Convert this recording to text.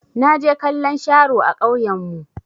Na je kallon sharo a ƙauyan mu.